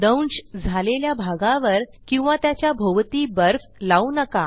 दंश झालेल्या भागावर किंवा त्याच्या भोवती बर्फ लावू नका